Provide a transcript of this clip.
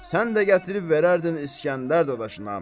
Sən də gətirib verərdin İsgəndər dadaşına.